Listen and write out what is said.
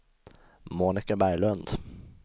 Monika Berglund